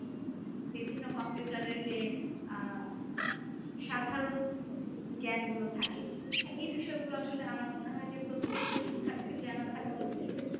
বিভিন্ন computer এর যে আহ সাধারণ জ্ঞান গুলো থাকে। এই বিষয়গুলো আসলে আমার মনে হয় যে, প্রত্যেকটা শিক্ষার্থীর জানা থাকা উচিত